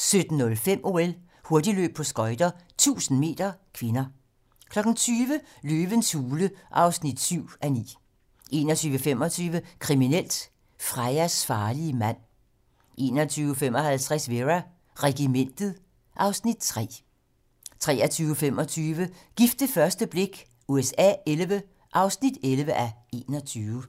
17:05: OL: Hurtigløb på skøjter - 1000 m (k) 20:00: Løvens Hule (7:9) 21:25: Kriminelt: Freyas farlige mand 21:55: Vera: Regimentet (Afs. 3) 23:25: Gift ved første blik USA XI (11:21)